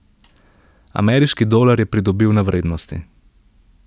Ameriški dolar je pridobil na vrednosti.